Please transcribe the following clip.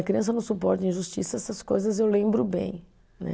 A criança não suporta injustiça, essas coisas eu lembro bem, né?